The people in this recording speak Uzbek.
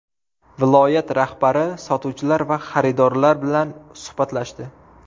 Viloyat rahbari sotuvchilar va xaridorlar bilan suhbatlashdi.